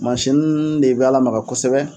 Masin de b'a lamaga kosɛbɛ